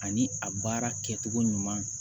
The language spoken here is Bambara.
Ani a baara kɛcogo ɲuman